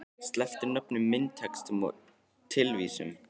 Sleppt er nöfnum í myndatextum og tilvísunum